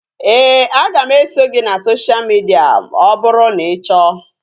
Éè, a ga m eso gị na sosha midia ọ bụrụ na ị chọọ